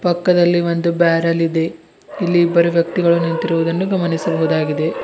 ಪಕ್ಕದಲ್ಲಿ ಒಂದು ಬ್ಯಾರಲ್ ಇದೆ ಇಲ್ಲಿ ಬರುವ ವ್ಯಕ್ತಿಗಳು ನಿಂತಿರುವುದನ್ನು ಗಮನಿಸಬಹುದಾಗಿದೆ.